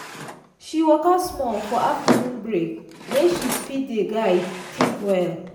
she waka small for afternoon break make she fit dey guide think well.